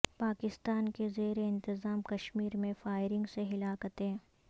پاکستان کے زیر انتظام کشیمر میں فائرنگ سے ہلاکتیں